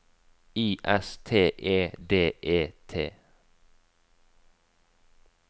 I S T E D E T